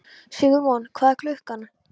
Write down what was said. Sigurmon, hvað er klukkan?